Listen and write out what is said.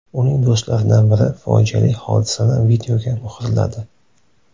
Uning do‘stlaridan biri fojiali hodisani videoga muhrladi.